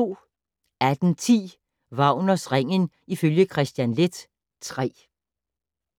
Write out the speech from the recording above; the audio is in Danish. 18:10: Wagners Ringen ifølge Kristian Leth III